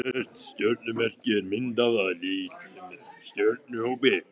Hvert stjörnumerki er myndað af litlum stjörnuhópi.